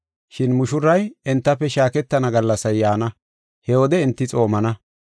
Shin mushuray entafe shaaketana gallasay yaana, he wode enti xoomana.”